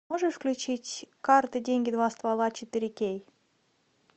можешь включить карты деньги два ствола четыре кей